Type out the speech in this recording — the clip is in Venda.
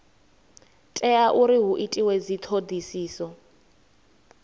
tea uri hu itwe dzithodisiso